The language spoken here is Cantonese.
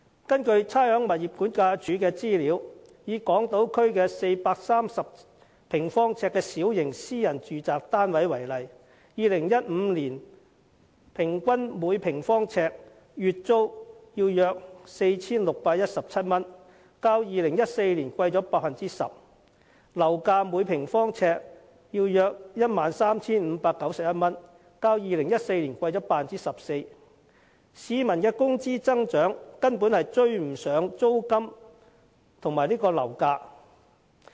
根據差餉物業估價署的資料，以港島區一個430平方呎的小型私人住宅單位為例 ，2015 年平均每平方呎的月租約為 4,617 元，較2014年上升 10%， 而樓價則是每平方呎約 13,591 元，較2014年上升 14%， 但市民的工資增長根本追不上租金和樓價的升幅。